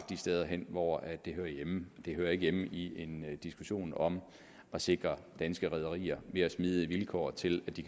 de steder hen hvor de hører hjemme de hører ikke hjemme i en diskussion om at sikre danske rederier mere smidige vilkår til